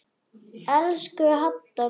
Elsku Hadda mín.